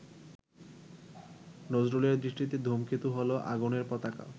নজরুলের দৃষ্টিতে ধূমকেতু হলো আগুনের পতাকা।